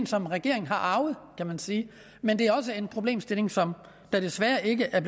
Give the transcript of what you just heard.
som regeringen har arvet kan man sige men det er også en problemstilling som der desværre ikke er